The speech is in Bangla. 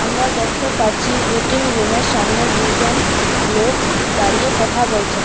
আমরা দেখতে পাচ্ছি ওয়েটিংরুমের সামনে দুজন লোক দাঁড়িয়ে কথা বলছেন।